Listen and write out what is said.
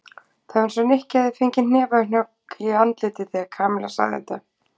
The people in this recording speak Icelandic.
Það var eins og Nikki hefði fengið hnefahögg í andlitið þegar Kamilla sagði þetta.